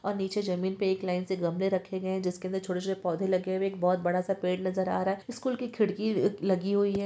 और नीचे जमीन पे एक लाईन से गमले रखे गए है जिसके अंदर छोटे छोटे पोधे लगे हुए है एक बहोत बड़ा सा पेड़ नजर आ रहा है स्कूल की खिड़की अ लगी हुई है।